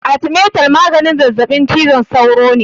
Arthermeter maganin zazaɓin cizon sauro ne.